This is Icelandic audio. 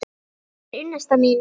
Hún er unnusta mín!